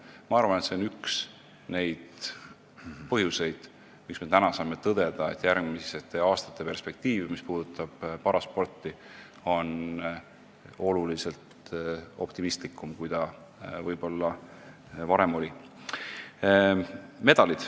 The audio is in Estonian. Ma arvan, et see on üks neid põhjuseid, miks me saame täna tõdeda, et järgmiste aastate perspektiiv on paraspordi seisukohalt oluliselt optimistlikum, kui see võib-olla varem oli.